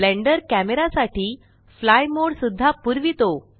blender camera साठी fly mode सुद्धा पुरवीतो